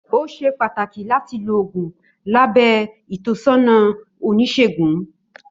Ó ṣé pàtàkì láti lo oògùn lábẹ ìtọ́sọ́nà Oníṣègùn